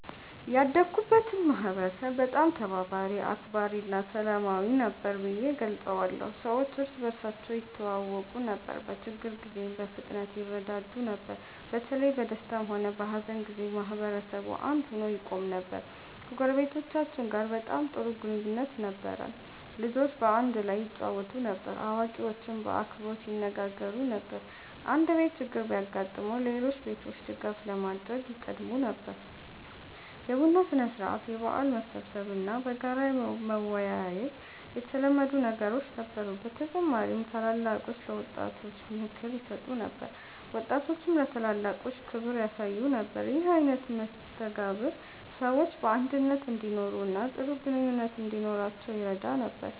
ያደግኩበትን ማህበረሰብ በጣም ተባባሪ፣ አክባሪ እና ሰላማዊ ነበር ብዬ እገልጸዋለሁ። ሰዎች እርስ በርሳቸው ይተዋወቁ ነበር፣ በችግር ጊዜም በፍጥነት ይረዳዱ ነበር። በተለይ በደስታም ሆነ በሀዘን ጊዜ ማህበረሰቡ አንድ ሆኖ ይቆም ነበር። ከጎረቤቶቻችን ጋር በጣም ጥሩ ግንኙነት ነበረን። ልጆች በአንድ ላይ ይጫወቱ ነበር፣ አዋቂዎችም በአክብሮት ይነጋገሩ ነበር። አንድ ቤት ችግር ቢያጋጥመው ሌሎች ቤቶች ድጋፍ ለማድረግ ይቀድሙ ነበር። የቡና ሥነ-ሥርዓት፣ የበዓል መሰብሰብ እና በጋራ መወያየት የተለመዱ ነገሮች ነበሩ። በተጨማሪም ታላላቆች ለወጣቶች ምክር ይሰጡ ነበር፣ ወጣቶችም ለታላላቆች ክብር ያሳዩ ነበር። ይህ አይነት መስተጋብር ሰዎች በአንድነት እንዲኖሩ እና ጥሩ ግንኙነት እንዲኖራቸው ይረዳ ነበር።